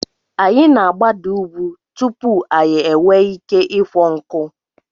Anyị na-agbada ugwu tupu anyị enwee ike ịkwọ nkụ.